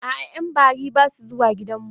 A'a, yan bari basu zuwa gidanmu.